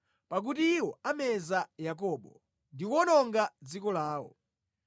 pakuti iwo ameza Yakobo ndi kuwononga dziko lawo.